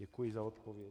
Děkuji za odpověď.